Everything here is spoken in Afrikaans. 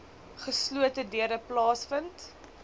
geslote deure plaasvind